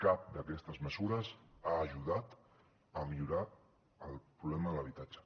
cap d’aquestes mesures ha ajudat a millorar el problema de l’habitatge